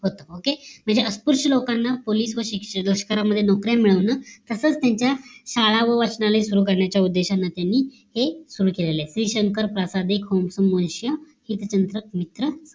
म्हणजे सत्पुरुष लोकांना पोलीस व लष्करी मध्ये नोकरी मिळावं म्हणून असा त्यांच्या शाळा व वाचनालय सुरु करण्याचा उद्देशाने तेनी सुतार केलेलं आहे श्री शंका प्रासादिक हे त्यांचं हित चिंतक मित्र